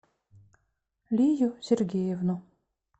лию сергеевну